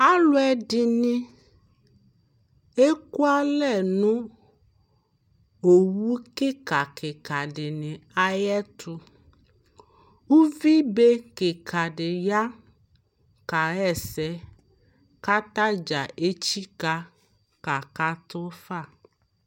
aluɛ ɛdini ekua lɛ nu owu kikakika di ni ayɛtou uvi be kika ɖi ya ka yɛsɛ ka ta dƶa etchika ka ka tu fa